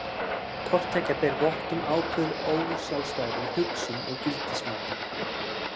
Hvort tveggja ber vott um ákveðið ósjálfstæði í hugsun og gildismati.